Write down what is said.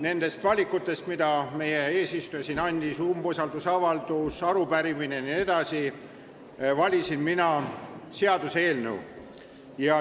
Nendest valikutest, mida meie eesistuja mainis , valisin mina seaduseelnõu.